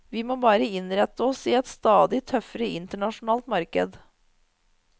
Vi må bare innrette oss i et stadig tøffere internasjonalt marked.